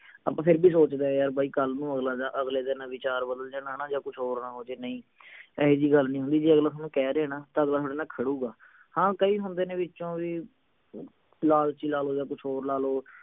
ਆਪਾਂ ਫੇਰ ਵੀ ਸੋਚਦੇ ਆ ਯਾਰ ਬਾਈ ਕੱਲ ਨੂੰ ਅਗਲੇ ਦਾ ਅਗਲੇ ਦੇ ਨਾ ਵਿਚਾਰ ਬਦਲ ਜਾਣ ਹਣਾ ਜਾ ਕੁਛ ਹੋਰ ਨਾ ਹੋ ਜਾਇ ਨਹੀਂ ਏਹੋਜੀ ਗੱਲ ਨਹੀਂ ਹੁੰਦੀ ਜੇ ਅਗਲਾ ਥੋਨੂੰ ਕਹਿ ਰਿਹੇ ਨਾ ਤਾਂ ਅਗਲਾ ਥੋਡੇ ਨਾਲ ਖੜੂਗਾ ਹਾਂ ਕਈ ਹੁੰਦੇ ਨੇ ਵਿਚੋਂ ਵੀ ਲਾਲਚੀ ਲਾ ਲਓ ਆ ਕੁਛ ਹੋਰ ਲਾ ਲੋ